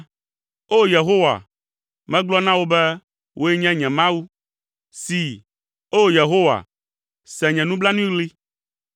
O! Yehowa, megblɔ na wò be, “Wòe nye nye Mawu.” See, o Yehowa, se nye nublanuiɣli.